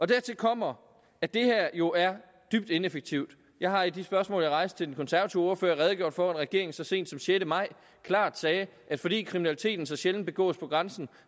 dertil kommer at det her jo er dybt ineffektivt jeg har i de spørgsmål jeg rejste til den konservative ordfører redegjort for at regeringen så sent som den sjette maj klart sagde at fordi kriminaliteten så sjældent begås på grænsen